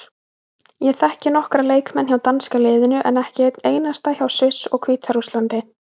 Ég þekki nokkra leikmenn hjá danska liðinu en ekki einn einasta hjá Sviss og Hvíta-Rússlandi.